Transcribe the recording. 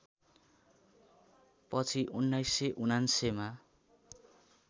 पछि १९९९ मा